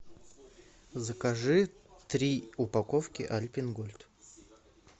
закажи три упаковки альпен гольд